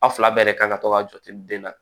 Aw fila bɛɛ de kan ka to ka jɔ ten den na